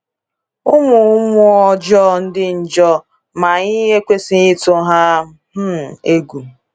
Ụmụmmụọ ọjọọ dị njọ, ma anyị ekwesịghị ịtụ ha um egwu.